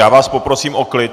Já vás poprosím o klid!